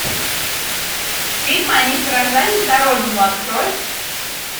фильм они сражались за родину открой